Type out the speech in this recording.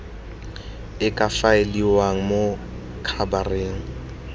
e ka faeliwang mo khabareng